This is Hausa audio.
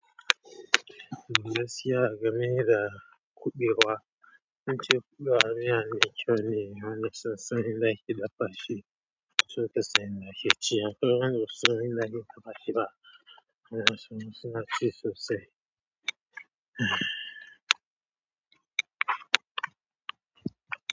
Gaskiya game da kuɓewa, zance kuɓewa miya mai kyau ne amma naso nasan yanda ake dafa shi sosai Lahici anjima sosai sunan Lahida fashi ba manaso sosai sosai.